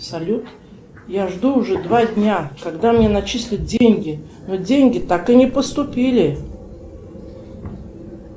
салют я жду уже два дня когда мне начислят деньги но деньги так и не поступили